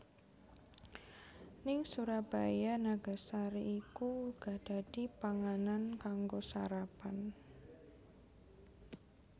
Ning Surabaya nagasari iku uga dadi panganan kanggo sarapan